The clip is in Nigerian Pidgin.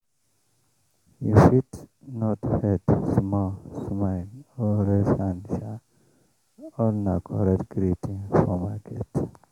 you fit nod head small smile or raise hand all na correct greeting for market.